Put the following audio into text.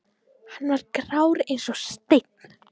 Hann var grár eins og steinn.